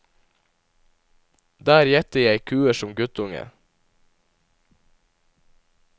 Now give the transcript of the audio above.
Der gjette jeg kuer som guttunge.